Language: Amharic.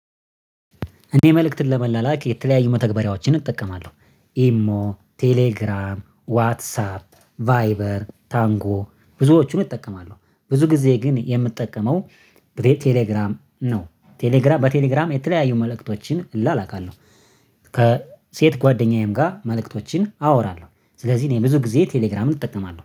እኔ መልእክትን ለመላላክ የተለያዩ መተግበሪያዎችን እጠቀማለሁ። ኢሞ ቴሌግራም ዋትሳፕ ቫይበር ታንጎ ብዙዎቹን እጠቀማለሁ ብዙ ጊዜ ግን የምጠቀመው ነው። ቴሌግራም በቴሌግራም የተለያዩ መልእክቶችን እላላካለሁ። ከሴት ጓደኛዬም ጋር መልእክቶችን አወራለሁ። ስለዚህ እኔ ብዙ ጊዜ ቴሌግራምን እጠቀማለሁ